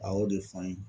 A y'o de fɔ an ye